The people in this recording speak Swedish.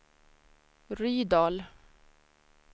Rydal